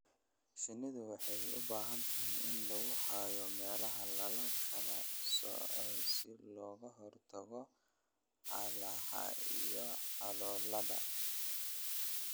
Shinnidu waxay u baahan tahay in lagu hayo meelaha la kala soocay si looga hortago colaadaha iyo colaadaha.